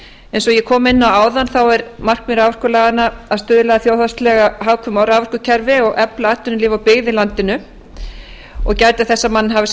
eins og ég kom inn á áðan er markmið raforkulaganna að stuðla að þjóðhagslega hagkvæmu raforkukerfi og efla atvinnulíf og byggð í landinu og gæta þess að menn hafi sem